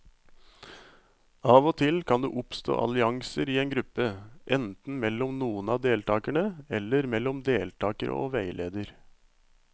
Av og til kan det oppstå allianser i en gruppe, enten mellom noen av deltakerne eller mellom deltakere og veileder.